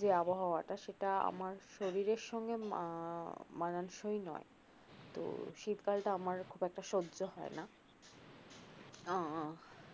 যে আবহাওয়াটা সেটা আমার শরীরের সঙ্গে মানানসই নয় তো শীতকাল টা আমার খুব একটা সজ্জ হয় না আহ